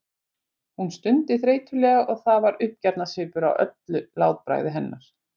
Hún stundi þreytulega og það var uppgjafarsvipur á öllu látbragði hennar.